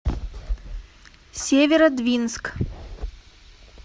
северодвинск